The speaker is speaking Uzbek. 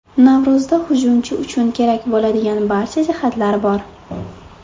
Navro‘zda hujumchi uchun kerak bo‘ladigan barcha jihatlar bor.